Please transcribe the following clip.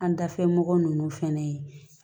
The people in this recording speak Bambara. An dafɛ mɔgɔ nunnu fɛnɛ ye